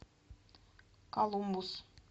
колумбус